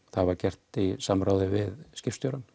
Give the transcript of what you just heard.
það var gert í samráði við skipstjórann